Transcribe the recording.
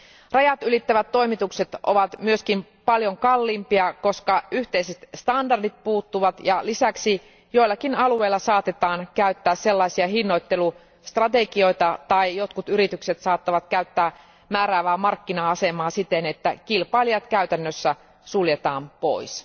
Rajatylittävät toimitukset ovat myös paljon kalliimpia, koska yhteiset standardit puuttuvat, ja lisäksi joillakin alueilla saatetaan käyttää sellaisia hinnoittelustrategioita tai jotkut yritykset saattavat käyttää määräävää markkina asemaa siten, että kilpailijat käytännössä suljetaan pois.